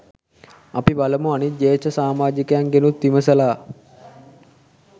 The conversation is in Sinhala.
අපි බලමු අනිත් ජ්‍යෙෂ්ඨ සාමාජිකයන්ගෙනුත් විමසලා